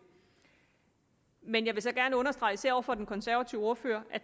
men jeg vil gerne understrege især over for den konservative ordfører at